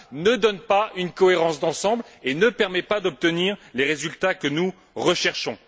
ne donne pas une cohérence d'ensemble et ne permet pas d'obtenir les résultats que nous recherchons.